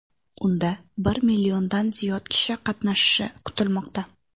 Unda bir milliondan ziyod kishi qatnashishi kutilmoqda.